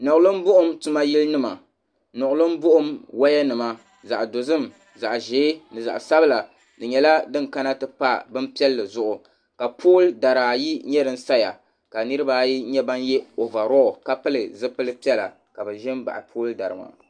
Niɣilim buɣum tuma yili nima niɣilim buɣum wayanima zaɣ'dozim zaɣ'ʒee ni zaɣ'sabila di nyɛla din kana ti pa bin piɛlli zuɣu ka pooli dari ayi nyɛ din saya ka niriba ayi nyɛ ban ye ovaroo ka pili zipili piɛla ka bɛ ʒi m-baɣi pooli dari maa.